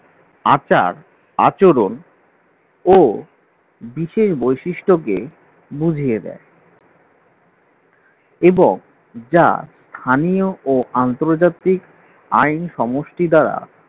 আচার-আচরণ ও বিশেষ বৈশিষ্ট্যকে বুঝিয়ে দেয় এবং যা স্থানীয় ও আন্তর্জাতিক আইন সমষ্টি দ্বারা